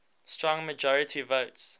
strong majority votes